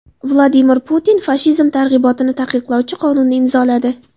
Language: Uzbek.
Vladimir Putin fashizm targ‘ibotini taqiqlovchi qonunni imzoladi.